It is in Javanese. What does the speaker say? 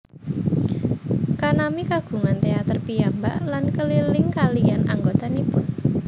Kanami kagungan teater piyambak lan keliling kaliyan anggotanipun